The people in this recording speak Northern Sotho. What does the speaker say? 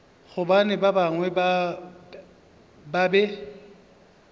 gobane ba bangwe ba be